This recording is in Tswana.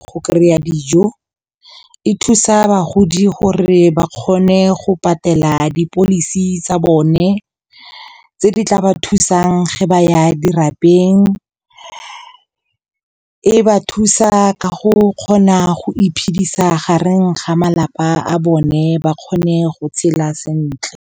Go kry-a dijo, e thusa bagodi gore ba kgone go patela di-policy tsa bone tse di tla ba thusang ge ba ya dirabeng. E ba thusa ka go kgona go iphedisa gareng ga malapa a bone, ba kgone go tshela sentle.